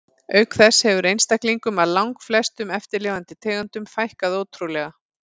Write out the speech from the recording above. Auk þess hefur einstaklingum af langflestum eftirlifandi tegundum fækkað ótrúlega.